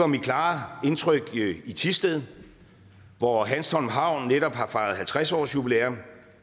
mit klare indtryk i thisted hvor hanstholm havn netop har fejret halvtreds årsjubilæum